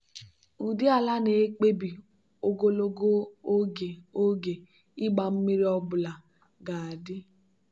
ụdị ala na-ekpebi ogologo oge oge ịgba mmiri ọ bụla ga-adị.